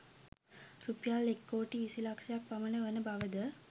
රුපියල් එක්කෝටි විසි ලක්‍ෂයක් පමණ වන බවද